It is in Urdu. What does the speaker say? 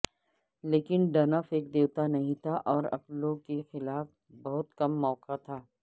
لیکن ڈنف ایک دیوتا نہیں تھا اور اپلو کے خلاف بہت کم موقع تھا